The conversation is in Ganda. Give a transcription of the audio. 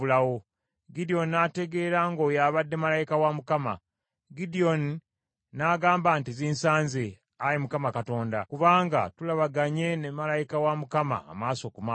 Gidyoni n’ategeera ng’oyo abadde malayika wa Mukama ; Gidyoni n’agamba nti, “Zinsanze, Ayi Mukama Katonda, kubanga tulabaganye ne malayika wa Mukama maaso ku maaso.”